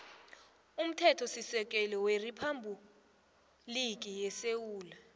umthethosisekelo weriphabhuliki yesewula